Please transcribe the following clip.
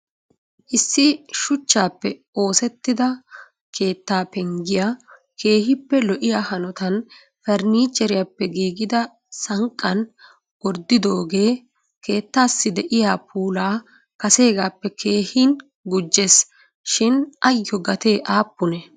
Isso shuchchappenoosettida keetta penggiya keehippe lo"iyaa hanotan farannicheriyappe giiggida sanqqan gorddidooge keettassi de'iyaa puula kasegaappe keehin gujjees. Shin ayyo gatee aappune?